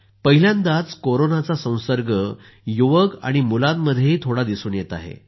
पहिल्यांदा कोरोनाचा संसर्ग युवक आणि मुलांमध्येही थोडा दिसून येत आहे